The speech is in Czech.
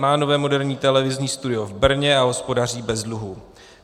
Má nové moderní televizní studio v Brně a hospodaří bez dluhů.